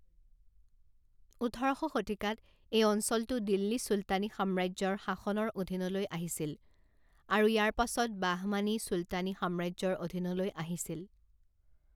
ওঠৰ শ শতিকাত এই অঞ্চলটো দিল্লী চুলতানী সাম্ৰাজ্যৰ শাসনৰ অধীনলৈ আহিছিল, আৰু ইয়াৰ পাছত বাহমানি চুলতানী সাম্ৰাজ্যৰ অধীনলৈ আহিছিল।